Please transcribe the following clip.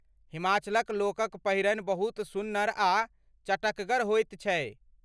हिमाचलक लोकक पहिरन बहुत सुन्नर आ चटकगर होइत छै।